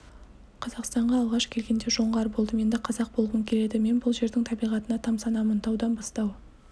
қазақстанға алғаш келгенде жоңғар болдым енді қазақ болғым келеді мен бұл жердің табиғатына тамсанамын таудан бастау